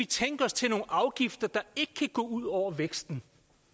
tænke os til nogle afgifter der ikke kan gå ud over væksten